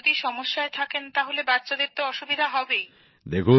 মা যদি সমস্যায় থাকেন তাহলে বাচ্চাদের তো অসুবিধা হবেই